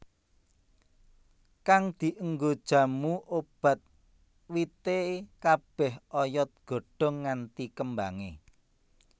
Kang dienggo jamu obat wite kabeh oyod godhong nganti kembange